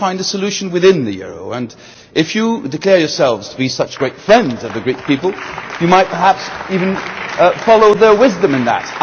They want to find a solution within the euro and, if you declare yourselves to be such great friends of the Greek people, you might perhaps even follow their wisdom in that.